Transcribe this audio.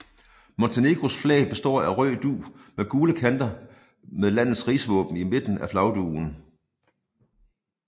Montenegros flag består af en rød dug med gule kanter med landets rigsvåben i midten af flagdugen